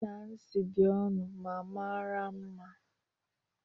Ashebi Nancy dị ọnụ ma mara mma